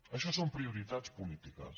això són prioritats polítiques